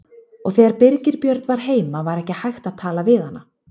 Og þegar Birgir Björn var heima var ekki hægt að tala við hana.